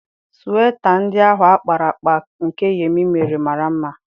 Sweta ndị ahụ a kpara akpa nke Yemi mere mara mma.